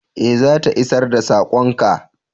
Eh, za ta isar da sakon ka.